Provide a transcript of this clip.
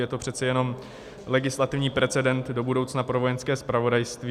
Je to přece jenom legislativní precedent do budoucna pro Vojenské zpravodajství.